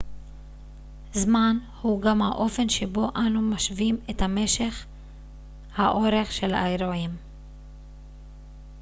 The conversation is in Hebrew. זמן הוא גם האופן שבו אנו משווים את המשך האורך של אירועים